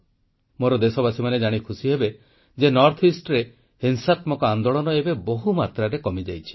ମୋର ଦେଶବାସୀମାନେ ଜାଣି ଖୁସିହେବେ ଯେ ଉତ୍ତର ପୂର୍ବରେ ହିଂସାତ୍ମକ ଆନ୍ଦୋଳନ ଏବେ ବହୁମାତ୍ରାରେ କମିଯାଇଛି